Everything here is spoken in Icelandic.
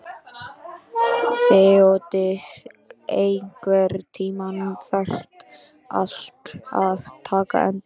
Þeódís, einhvern tímann þarf allt að taka enda.